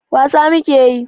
wasa muke yi